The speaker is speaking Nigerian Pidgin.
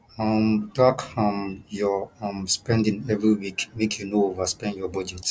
um track um your um spending every week make you no overspend your budget